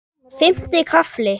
Fimmti kafli